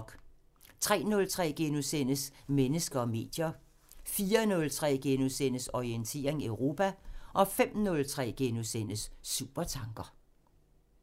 03:03: Mennesker og medier * 04:03: Orientering Europa * 05:03: Supertanker *